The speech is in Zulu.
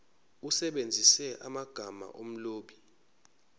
usebenzise amagama omlobi